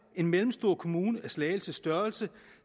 en mellemstor kommune af slagelses størrelse